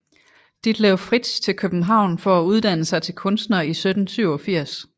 Ditlev Fritzsch til København for at uddanne sig til kunstner i 1787